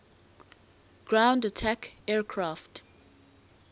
ground attack aircraft